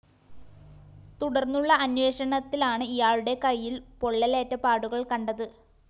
തുര്‍ടന്നുള്ള അന്വേഷണത്തിലാണ് ഇയാളുടെ കൈയില്‍ പൊള്ളലേറ്റ പാടുകള്‍ കണ്ടത്